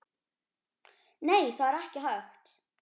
Nei, það er ekki hægt